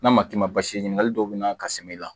N'a ma k'i ma basi ɲiniŋali dɔw be na ka samiyɛ la